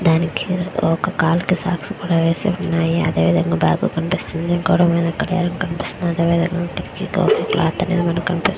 దానికి ఒక కాలుకి సాక్స్ కూడా వేసి ఉన్నాయి అదే విధంగా బాగ్ కనిపిస్తుంది గోడ మీద గడియారం కనిపిస్తుంది. అదేవిధంగా కిటికీలో క్లోత్ అనేది మనకి కనిపిస్తు --